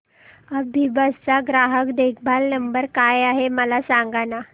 अभिबस चा ग्राहक देखभाल नंबर काय आहे मला सांगाना